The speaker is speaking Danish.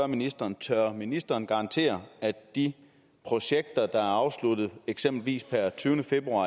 ministeren tør ministeren garantere at de projekter der er afsluttet eksempelvis per tyvende februar